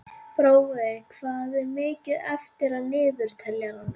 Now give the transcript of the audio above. Brói, hvað er mikið eftir af niðurteljaranum?